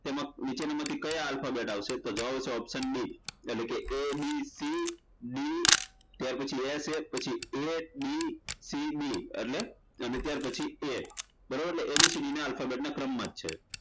નીચેના માંથી કયા alphabet આવશે તો જવાબ આવશે option D એટલે કે abcd ત્યારપછી એ છે પછી ABCB ત્યાર પછી A બરાબર એટલે ABCD બંને ક્રમમા જ છે